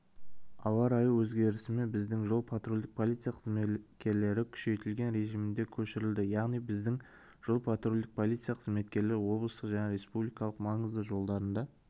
ауа-райы өзгерісімен біздің жол патрульдік полиция қызметкерлері күшейтілген режиміне көшірілді яғни біздің жол-патрульдік полиция қызметкерлері облыстық және республикалық маңызды жолдарында